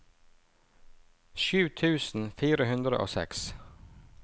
sju tusen fire hundre og seks